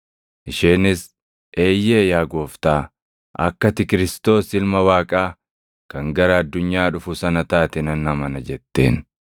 Isheenis, “Eeyyee yaa Gooftaa, akka ati Kiristoos + 11:27 yookaan Masiihicha Ilma Waaqaa kan gara addunyaa dhufu sana taate nan amana” jetteen.